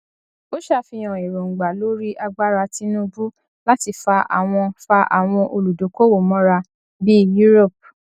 ó sàfihàn èróńgbà lórí agbára tinubu láti fa àwọn fa àwọn olùdókòwò mọra bí europe